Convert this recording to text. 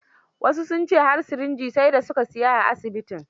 Wasu sun ce har sirinji sai da su ka sialya a asibitin.